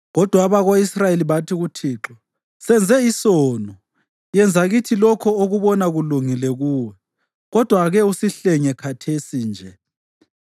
Kodwa abako-Israyeli bathi kuThixo, “Senze isono. Yenza kithi lokho okubona kulungile kuwe, kodwa ake usihlenge khathesi nje.”